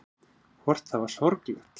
Hvort það var sorglegt.